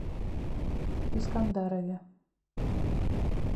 искандарове